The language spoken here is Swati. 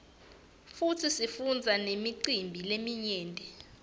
futsi sifundza nemicimbi leminyeti